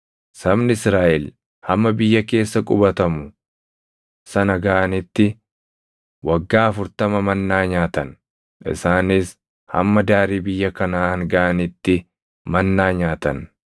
Sabni Israaʼel hamma biyya keessa qubatamu sana gaʼanitti waggaa afurtama mannaa nyaatan; isaanis hamma daarii biyya Kanaʼaan gaʼanitti mannaa nyaatan.